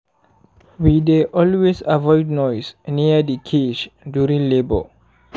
we dey always avoid noise near the cage during labour